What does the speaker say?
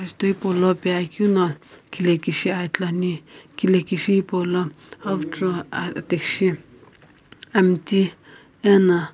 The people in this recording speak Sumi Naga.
jutho hipaulo piyeakeuno kilhekishi aa ithuluani kilhekishi hipau lo avucho athikshi amiti ena.